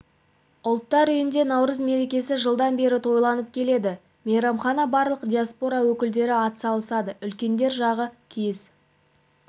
ұлттар үйінде наурыз мерекесі жылдан бері тойланып келеді мейрамға барлық диаспора өкілдері атсалысады үлкендер жағы киіз